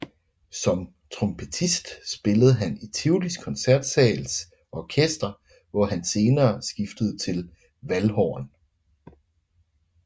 Som trompetist spillede han i Tivolis Koncertsals Orkester hvor han senere skiftede til valdhorn